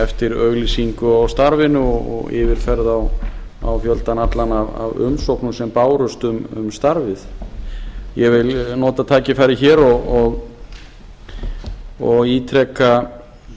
eftir auglýsingu á starfinu og yfirferð á fjöldanum öllum af umsóknum sem bárust um starfið ég vil nota tækifærið hér og ítreka